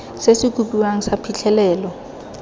se se kopiwang sa phitlhelelo